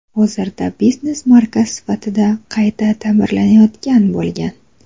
Hozirda biznes markaz sifatida qayta ta’mirlanayotgan bo‘lgan.